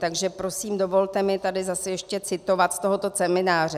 Takže prosím dovolte mi tady zase ještě citovat z tohoto semináře: